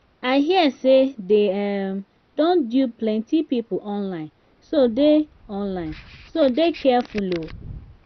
i hear say dey um don dupe plenty people online so dey online so dey careful um